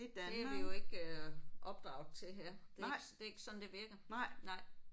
Det er vi jo ikke øh opdraget til her. Det er ikke det er ikke sådan det virker nej